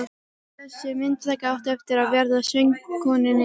Þessi myndataka átti eftir að verða söngkonunni dýr.